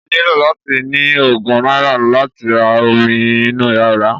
O nílò láti ní ogún náírà láti ra omi inú ọ̀rá